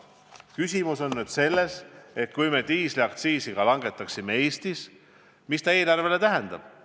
Küsimus on nüüd selles, et kui me diislikütuse aktsiisi Eestis langetaksime, siis mis ta eelarvele tähendab.